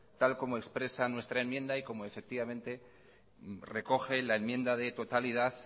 tal como expresa nuestra enmienda y como recoge la enmienda de totalidad